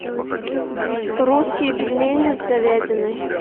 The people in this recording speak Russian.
русские пельмени с говядиной